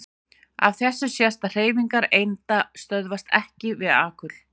Af þessu sést að hreyfingar einda stöðvast EKKI við alkul.